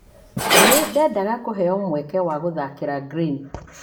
Nĩ ndendaga kũheo mweke wa gũthaakĩra Green.